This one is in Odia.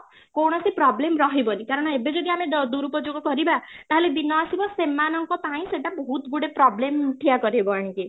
କୌଣସି problem ରହିବନି କାରଣ ଏବେ ଯଦି ଆମେ ଦୁରୁପଯୋଗ କରିବା ତାହେଲେ ଦିନ ଆସିବ ସେମାନଙ୍କ ପାଇଁ ସେଇଟା ବହୁତ ଗୁଡ଼େ problem ଠିଆ କରେଇବ ଆଣିକି